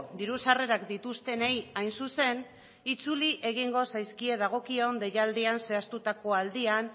diru sarrerak dituztenei hain zuzen itzuli egingo zaizkie dagokion deialdian zehaztuko aldian